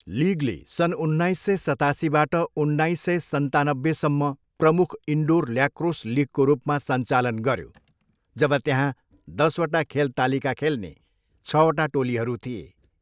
लिगले सन् उन्नाइस सय सतासीबाट उन्नाइस सय सन्तानब्बेसम्म प्रमुख इनडोर ल्याक्रोस लिगको रूपमा सञ्चालन गऱ्यो, जब त्यहाँ दसवटा खेल तालिका खेल्ने छवटा टोलीहरू थिए।